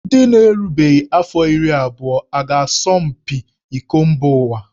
Ndị na-erubeghị afọ iri abụọ a ga-asọ mpi iko mba ụwa?